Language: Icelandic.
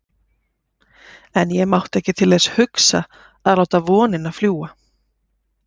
En ég mátti ekki til þess hugsa að láta vonina fljúga.